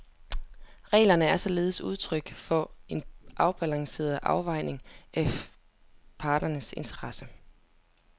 Reglerne er således udtryk for en afbalanceret afvejning af parternes interesser.